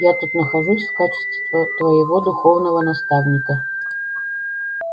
я тут нахожусь в качестве твоего духовного наставника